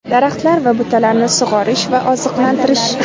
Daraxtlar va butalarni sug‘orish va oziqlantirish:.